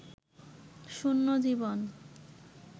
শূন্য জীবন